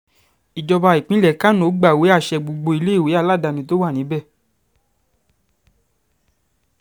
ìjọba ìpínlẹ̀ kánò gbàwé àṣẹ gbogbo iléèwé aládàáni tó wà níbẹ̀